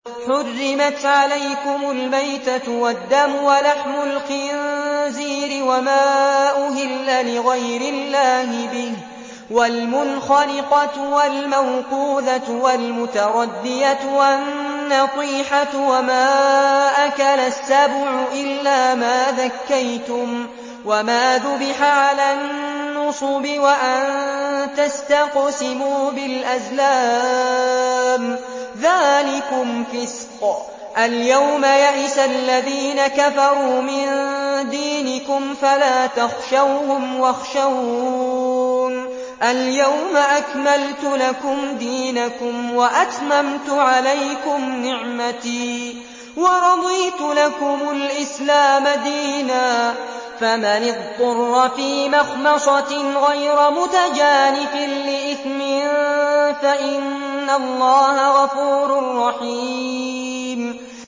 حُرِّمَتْ عَلَيْكُمُ الْمَيْتَةُ وَالدَّمُ وَلَحْمُ الْخِنزِيرِ وَمَا أُهِلَّ لِغَيْرِ اللَّهِ بِهِ وَالْمُنْخَنِقَةُ وَالْمَوْقُوذَةُ وَالْمُتَرَدِّيَةُ وَالنَّطِيحَةُ وَمَا أَكَلَ السَّبُعُ إِلَّا مَا ذَكَّيْتُمْ وَمَا ذُبِحَ عَلَى النُّصُبِ وَأَن تَسْتَقْسِمُوا بِالْأَزْلَامِ ۚ ذَٰلِكُمْ فِسْقٌ ۗ الْيَوْمَ يَئِسَ الَّذِينَ كَفَرُوا مِن دِينِكُمْ فَلَا تَخْشَوْهُمْ وَاخْشَوْنِ ۚ الْيَوْمَ أَكْمَلْتُ لَكُمْ دِينَكُمْ وَأَتْمَمْتُ عَلَيْكُمْ نِعْمَتِي وَرَضِيتُ لَكُمُ الْإِسْلَامَ دِينًا ۚ فَمَنِ اضْطُرَّ فِي مَخْمَصَةٍ غَيْرَ مُتَجَانِفٍ لِّإِثْمٍ ۙ فَإِنَّ اللَّهَ غَفُورٌ رَّحِيمٌ